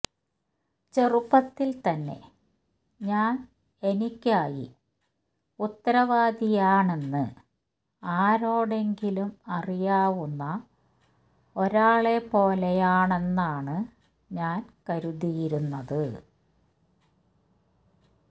ചെറുപ്പത്തിൽ തന്നെ ഞാൻ എനിക്കായി ഉത്തരവാദിയാണെന്ന് ആരോടെങ്കിലും അറിയാവുന്ന ഒരാളെപ്പോലെയാണെന്നാണ് ഞാൻ കരുതിയിരുന്നത്